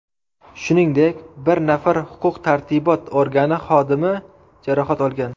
Shuningdek, bir nafar huquq-tartibot organi xodimi jarohat olgan.